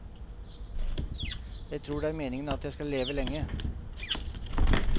Jeg tror det er meningen at jeg skal leve lenge.